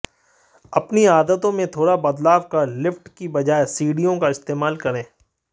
अपनी आदतों में थोड़ा बदलाव कर लिफ्ट की बजाए सीढ़ियों का इस्तेमाल करें